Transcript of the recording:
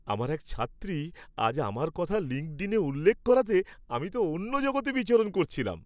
আমার এক ছাত্রী আজ আমার কথা লিঙ্কডিনে উল্লেখ করাতে আমি তো অন্য জগতে বিচরণ করছিলাম।